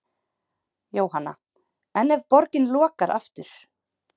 Jóhanna: En ef borgin lokar aftur?